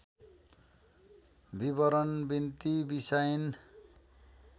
विवरण बिन्ती बिसाइन्